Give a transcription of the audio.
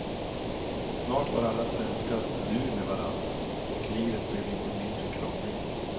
Snart var alla svenskar du med varann, och livet blev lite mindre krångligt.